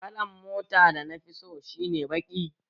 Kalan mota dana fi so shi ne baki